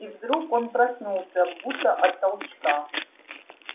и вдруг он проснулся будто от толчка